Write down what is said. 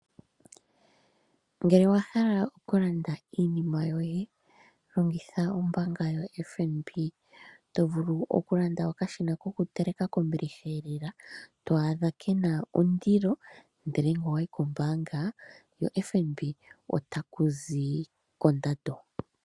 Ngele owahala okulanda iinima yoye longitha ombaanga yo FNB, tovulu okulanda okashina ko kuteleka kombiliha lela twadha kena ondilo ndele ngele owayi kombaanga yo FNB ota kuzi ko ondando.